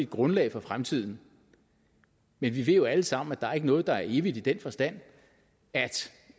grundlag for fremtiden men vi ved jo alle sammen at der ikke er noget der er evigt i den forstand at